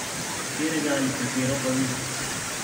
Katerega ali katero pa vi?